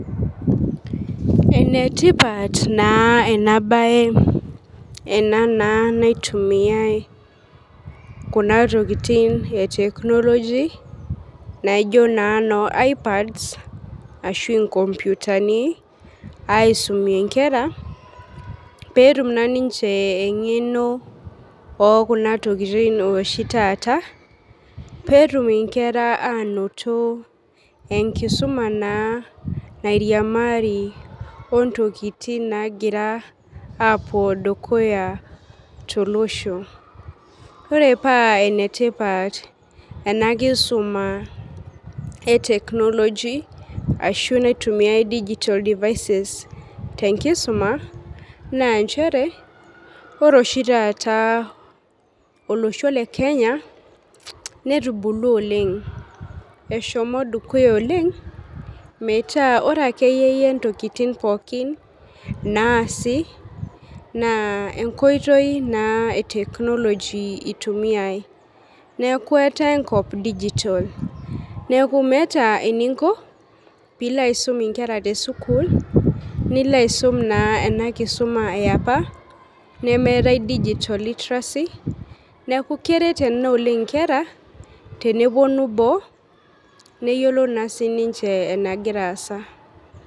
Enetipat na enabae ena na naitumiai kunatokitin e technology no aipad ashu nkomputani aisumie nkera petum na ninche engeno ekuna tokitin oshi taata peetum nkera anoto enkisuma na nairiamairi ontokitin nagira apuo dukuya tolosho ore pa enetipat enakisuma e technology ashu naitumiai digital devices tenkisuma na nchere ore oshi taata olosho le kenya netubulua oleng eshomo dukuya oleng metaa ore akeyie ntokitin pookin naasi na enkoitoi e technology itumiai neaku etaa enkop digital neaku meeta eninko pilo aisumbnkera tesukul nilo aisilum na enakisuma eapa nemeatae digital literacy na keret oleng nkera teneponu nkera.